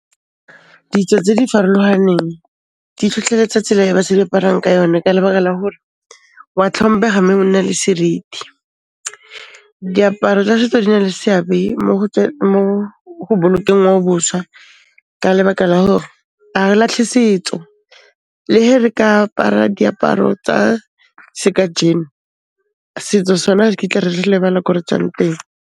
Ditso tse di farologaneng, di tlhotlheletsa tsela e basadi ba aparang ka yona ka lebaka la hore, wa tlhomphega mme o nna le seriti. Diaparo tsa setso di na le seabe mo go bolokeng ngwaobošwa ka lebaka la hore, a re latlhe setso, le ge re ka apara diaparo tsa se ka jean, setso sona ga re kitla re lebala ko re tswang teng.